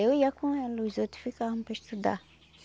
Eu ia com ela, os outros ficavam para estudar.